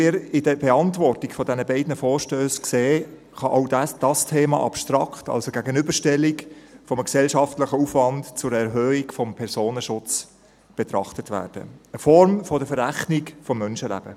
An der Beantwortung der beiden Vorstösse sieht man, dass auch dieses Thema abstrakt, als Gegenüberstellung eines gesellschaftlichen Aufwands zur Erhöhung des Personenschutzes, betrachtet wird – eine Form der Verrechnung von Menschenleben.